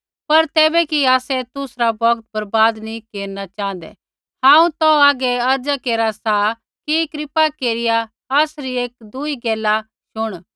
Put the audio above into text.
पर तैबै कि आसै तुसरा बौगत बर्बाद नी केरना च़ाँहदै हांऊँ तौ हागै अर्ज़ा केरा सा कि कृपा केरिया आसरी एकदूई गैला शुण